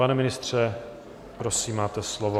Pane ministře, prosím, máte slovo.